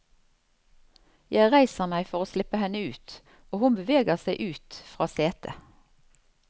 Jeg reiser meg for å slippe henne ut, og hun beveger seg ut fra setet.